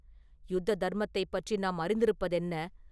யுத்த தர்மத்தைப் பற்றி நாம் அறிந்திருப்பதென்ன?